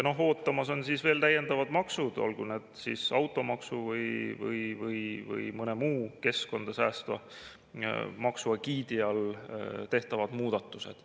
Ootamas on veel täiendavad maksud, olgu need siis automaksu või mõne muu keskkonda säästva maksu egiidi all tehtavad muudatused.